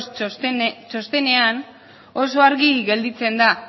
sos txostenean oso argi gelditzen da